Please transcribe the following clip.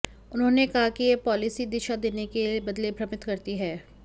उन्होंने कहा कि यह पॉलिसी दिशा देने के बदले भ्रमित करती है